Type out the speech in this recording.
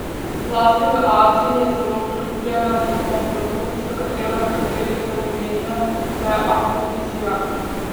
Zlasti v Aziji je zelo priljubljena njihova plavut, za katero nekateri celo menijo, da je afrodiziak.